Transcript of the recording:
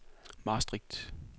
Maastricht